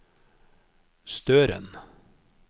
Støren